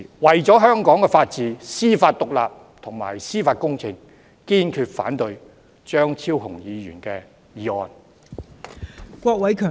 為了香港的法治、司法獨立和司法公正，堅決反對張超雄議員的議案。